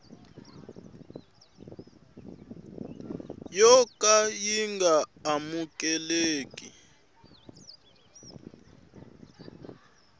yo ka yi nga amukeleki